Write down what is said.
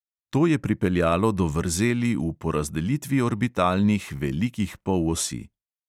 To je pripeljalo do vrzeli v porazdelitvi orbitalnih velikih polosi.